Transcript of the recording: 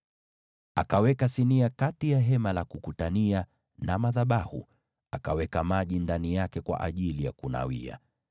Akaweka sinia kati ya Hema la Kukutania na madhabahu, akaweka maji ndani yake kwa ajili ya kunawia,